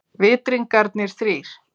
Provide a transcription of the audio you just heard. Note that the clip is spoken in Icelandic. Vitringarnir þrír.